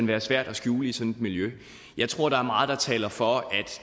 være svært at skjule i sådan miljø jeg tror der er meget der taler for at